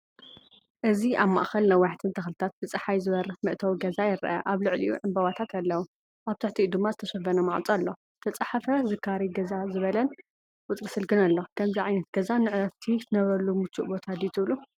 እዚ ኣብ ማእከል ነዋሕትን ተኽልታት ብጸሓይ ዝበርህ መእተዊ ገዛ ይርአ። ኣብ ልዕሊኡ ዕምባባታት ኣለዉ። ኣብ ትሕቲኡ ድማ ዝተሸፈነ ማዕጾ ኣሎ። ዝተፃሓፈ “ዝካረይ ገዛ” ዝበለን ቁጽሪ ስልክን ኣሎ። ከምዚ ዓይነት ገዛ ንዕረፍቲ ክትነብረሉ ምቹእ ቦታ ድዩ ትብሉ?